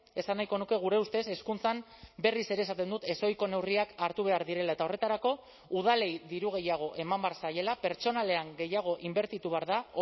esan nahiko nuke gure ustez hezkuntzan berriz ere esaten dut ezohiko neurriak hartu behar direla eta horretarako udalei diru gehiago eman behar zaiela pertsonalean gehiago inbertitu behar da